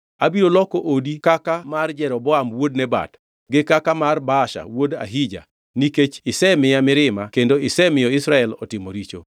Abiro loko odi kaka mar Jeroboam wuod Nebat gi kaka mar Baasha wuod Ahija nikech isemiya mirima kendo isemiyo Israel otimo richo.”